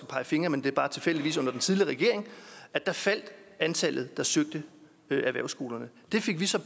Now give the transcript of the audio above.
pege fingre men det var tilfældigvis under den tidligere regering faldt antallet der søgte erhvervsskolerne det fik vi så